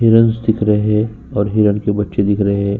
Heron's दिख रहे और हिरन के बच्चे दिख रहे है।